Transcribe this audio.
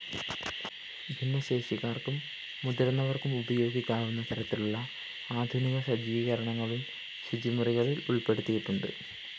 ഭിന്നശേഷിക്കാര്‍ക്കും മുതിര്‍ന്നവര്‍ക്കും ഉപയോഗിക്കാവുന്ന തരത്തിലുള്ള ആധുനിക സജ്ജീകരണങ്ങളും ശുചിമുറികളില്‍ ഉള്‍പ്പെടുത്തിയിട്ടുണ്ട്